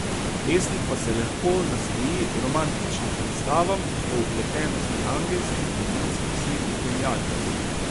Pesnik pa se lahko nasmeji romantičnim predstavam o vpletenosti angelskih, demonskih sil in genialnosti.